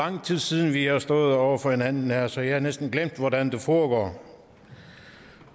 lang tid siden vi har stået over for hinanden her så jeg har næsten glemt hvordan det foregår